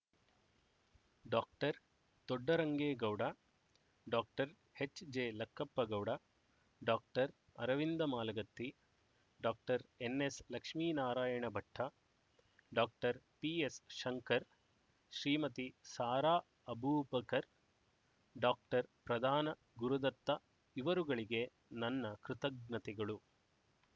doctor Doddarangegowda doctor H J Lakkappagowda doctor Aravinda Malagatti doctor N S Lakshminarayana Bhatta doctor P S Shankar Shrimati Sara Abubakar doctor Pradhan Gurudatta ಇವರುಗಳಿಗೆ ನನ್ನ ಕೃತಜ್ಞತೆಗಳು